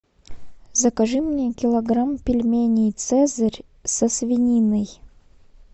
закажи мне килограмм пельменей цезарь со свининой